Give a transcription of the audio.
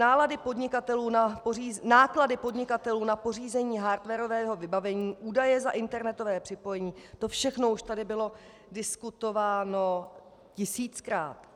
Náklady podnikatelů na pořízení hardwarového vybavení, výdaje za internetové připojení, to všechno už tady bylo diskutováno tisíckrát.